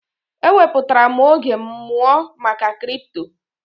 E wepụtara m oge m mụọ maka kripto.